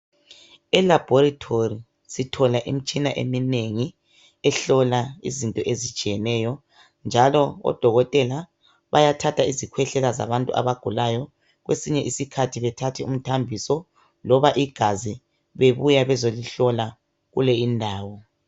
Elaboratory sithola imitshina eminengi ehlola izinto ezitshiyeneyo. Njalo odokotela bayathatha isikhwehlela zabantu abagulayo, kwesinye isikhathi bethathe umthambiso loba igazi bebuya bezihlola kuleyi indawo.